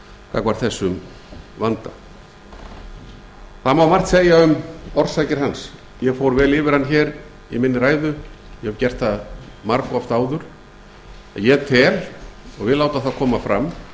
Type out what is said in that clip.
gagnvart þessum vanda það má margt segja um orsakir hans ég fór vel yfir hann hér í minni ræðu ég hef gert það margoft áður en ég tel og vil láta það koma fram